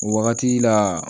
O wagati la